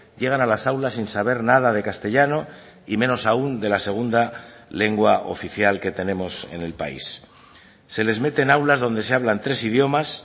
llegan a las aulas sin saber nada de castellano y menos aun de la segunda lengua oficial que tenemos en el país se les mete en aulas donde se hablan tres idiomas